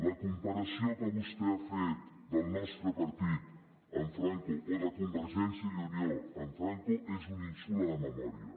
la comparació que vostè ha fet del nostre partit amb franco o de convergència i unió amb franco és un insult a la memòria